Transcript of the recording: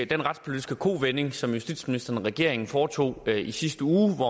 den retspolitiske kovending som justitsministeren og regeringen foretog i sidste uge hvor